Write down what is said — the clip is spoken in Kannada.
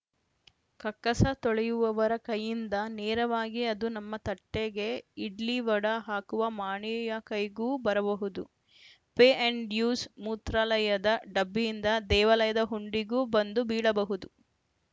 ಕಕ್ಕಸ ತೊಳೆಯುವವರ ಕೈಯಿಂದ ನೇರವಾಗಿ ಅದು ನಮ್ಮ ತಟ್ಟೆಗೆ ಇಡ್ಲಿ ವಡಾ ಹಾಕುವ ಮಾಣಿಯ ಕೈಗೂ ಬರಬಹುದು ಪೇ ಆ್ಯಂಡ್‌ ಯೂಸ್‌ ಮೂತ್ರಾಲಯದ ಡಬ್ಬಿಯಿಂದ ದೇವಾಲಯದ ಹುಂಡಿಗೂ ಬಂದು ಬೀಳಬಹುದು